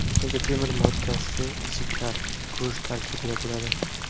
Ko‘pincha temir moddasi jigar, go‘sht tarkibida bo‘ladi.